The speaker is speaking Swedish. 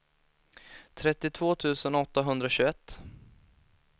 trettiotvå tusen åttahundratjugoett